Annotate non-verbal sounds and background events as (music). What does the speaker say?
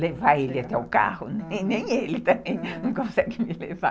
levar ele até o carro, (laughs) nem ele também não consegue me levar. (laughs)